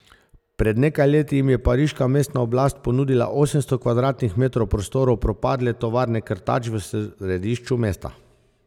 Pred nekaj leti jim je pariška mestna oblast ponudila osemsto kvadratnih metrov prostorov propadle tovarne krtač v središču mesta.